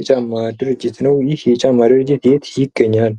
የጫማ ድርጅት ነው:: ይህ የጫማ ድርጅት የት ይገኛል?